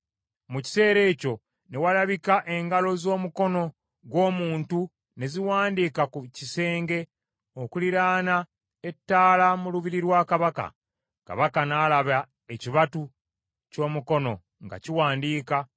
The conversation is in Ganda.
Mu kiseera ekyo ne walabika engalo z’omukono gw’omuntu ne ziwandiika ku kisenge okuliraana ettaala mu lubiri lwa kabaka; kabaka n’alaba ekibatu ky’omukono nga kiwandiika.